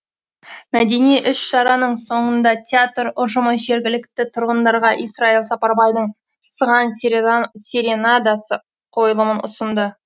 мәдени іс шараның соңында театр ұжымы жергілікті тұрғындарға исраил сапарбайдың сыған серенадасы қойылымын ұсынды